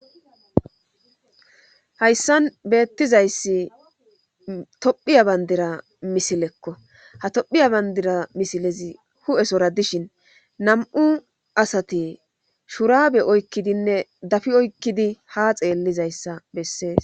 hayssan beettizayssi tophiya bandira misilekko ha tophiya bandira misilezi hu7esora dishin nam7u asati shuraabe oykkidinne dafi oykkidi ha xeellizayssa bessees